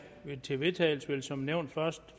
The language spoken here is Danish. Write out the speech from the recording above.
til vedtagelse vil som nævnt først